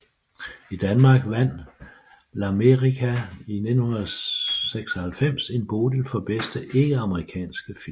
I Danmark vandt Lamerica i 1996 en Bodil for bedste ikke amerikanske film